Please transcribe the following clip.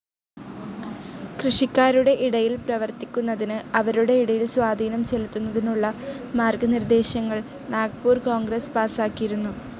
കൃഷിക്കാരുടെ ഇടയിൽ പ്രവർത്തിക്കുന്നതിന്, അവരുടെ ഇടയിൽ സ്വാധീനം ചെലുത്തുന്നതിനുമുള്ള മാർഗ്ഗ നിർദ്ദേശങ്ങൾ നാഗ്പൂർ കോൺഗ്രസ്‌ പാസാക്കിയിരുന്നു.